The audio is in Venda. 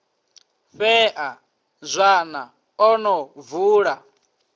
fheṱa zwanḓa o no bvula